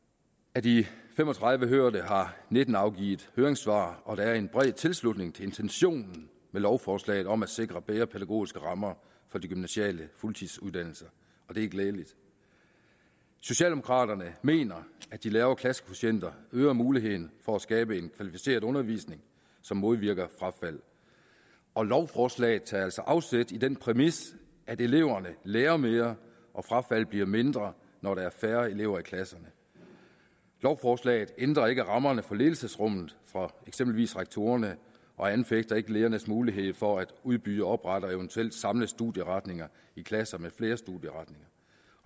af de fem og tredive hørte har nitten afgivet høringssvar og der er en bred tilslutning til intentionen med lovforslaget om at sikre bedre pædagogiske rammer for de gymnasiale fuldtidsuddannelser og det er glædeligt socialdemokraterne mener at de lavere klassekvotienter øger muligheden for at skabe en kvalificeret undervisning som modvirker frafald og lovforslaget tager altså afsæt i den præmis at eleverne lærer mere og frafaldet bliver mindre når der er færre elever i klasserne lovforslaget ændrer ikke rammerne for ledelsesrummet for eksempelvis rektorerne og anfægter ikke ledernes mulighed for at udbyde oprette og eventuelt samle studieretninger i klasser med flere studieretninger